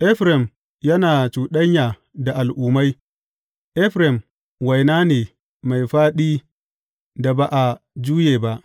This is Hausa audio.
Efraim yana cuɗanya da al’ummai; Efraim waina ne mai fāɗi da ba a juye ba.